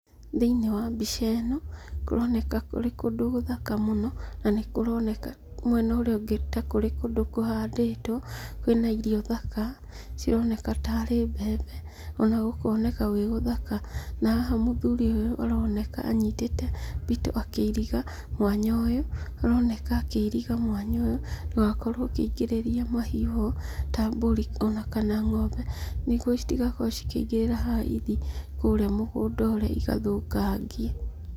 Thiinĩ wa mbica ĩno, kũroneka kũrĩ kũndũ gũthaka mũno, na nĩ kũroneka mwena ũria ũngĩ ta kũrĩ kũndũ kũhandĩtwo. Kwĩna irio thaka, cironeka tarĩ mbembe ona gũkoneka gwĩguthaka. Na haha mũthũrĩ ũyũ aroneka anyitĩte mbito akĩiriga mwanya ũyũ. Aroneka akĩiriga mwanya ũyũ ndũgakorwo ũkĩingĩria mahiu-ho ta mburi kana ng'ombe, nĩguo citigakorwo ikĩingĩrĩra haha nĩguo ithiĩ kũrĩa mũgũnda ũrĩa igathũkangie.